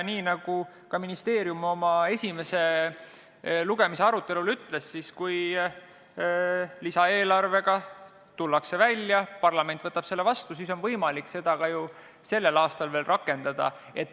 Nii nagu ka ministeerium esimese lugemise arutelul ütles, kui tullakse välja lisaeelarvega ja parlament võtab selle vastu, siis on võimalik seda ka veel sellel aastal veel rakendada.